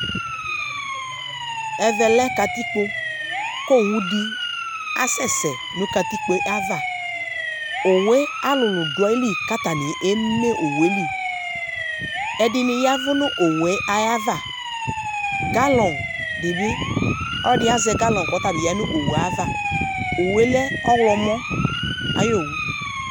Ɛvɛ lɛ katikpo k'owudɩ asɛsɛ nʋ katikpoe ava Owue alʋlʋ dʋ ayili k'atanɩ eme owue li; ɛdɩnɩ yɛvʋ nʋ owue ayava Galɔn dɩ bɩ, ɔlɔdɩ azɛ galɔn k'ɔtabɩ ya nʋ owue ava owue lɛ ɔɣlɔmɔ ayowu